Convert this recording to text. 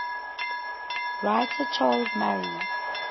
writer charles murray